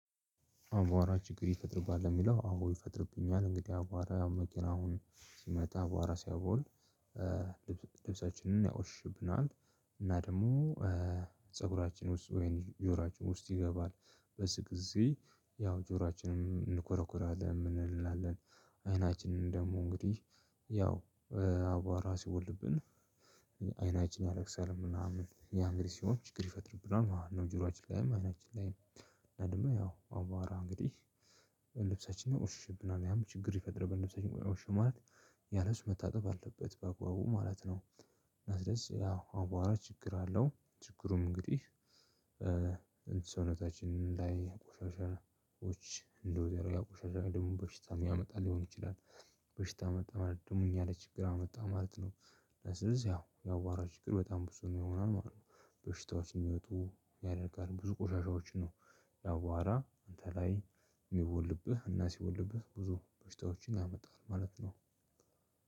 አቧራ ችግር ይፈጥርብሃል ለሚለው አዎ ይፈጥርብኛል እንግዲህ አቧራ ያው መኪናውም ሲመጣ አቧራ ሲያቦን ልብስ ልብሳችንን ያቆሽሽብናል። እና ደግሞ ፀጉራችን ውስጥ ወይም ጆሮአችን ውስጥ ይገባል በዚህ ጊዜ ያው ጆሮአችንን እንኮረኩራለን የምን እንላለን አይናችንን ደግሞ እንግዲህ ያው አቧራ ሲቦንብን። አይናችን ያለቅሳል ምናምን ያ እንግዲህ ሲሆን ችግር ይፈጥርብናል ማለት ነው። ጆሮአችን ላይ አይናችን ላይም ምንድነው ያው አቧራ እንግዲህ ልብሰችንን ያቆሽሽብናል ያም ችግር ይፈጥርብናል። ልብሰችን ቆሸሸ ማለት ያልብስ መታጠብ አለበት በአግባቡ ማለት ነው። እና ስለዚህ ያው አቧራ ችግር አለው ችግሩም እንግዲህ ሰውነታችን ላይ ቆሻሻዎች እንዲኖር ያደርጋል ያ ቆሻሻ ደግሞ በሽታ የሚያመጣ ሊሆን ይችላል። በሽታ መጣ ማለት ደግሞ እኛ ለይ ችግር አመጣ ማለት ነው። ስለዚህ ያው የአቧራ ችግር በጣም ብዙ ነው የሚሆነው ማለት ነው። በሽታዎች እንዲመጡ ያደርጋል ብዙ ቆሻሻዎች ነው። የአቧራ አንተ ላይ የሚቦንብህ እና ሲቦንብህ ብዙ በሽታዎችን ያመጣል ማለት ነው።